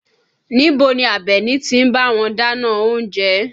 Níbo ni Abeni ti ń bá wọn dáná oúnjẹ?